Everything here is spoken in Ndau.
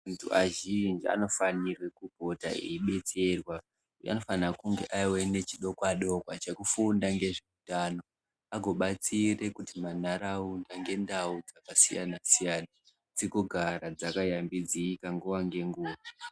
Azhinji anofanirwe kupota eibetserwa .Anofanha kunge aive nechikwadiwo chekufunda ngezveutano, agobatsire kuitira ndau ngendau dzakasiyana-siyana, dzigogara dzakayambidzika nguwa ngenguwa.